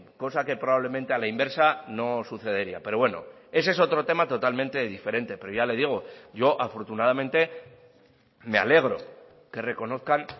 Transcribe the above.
cosa que probablemente a la inversa no sucedería pero bueno ese es otro tema totalmente diferente pero ya le digo yo afortunadamente me alegro que reconozcan